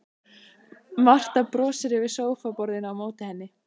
Marta brosir yfir sófaborðinu á móti henni.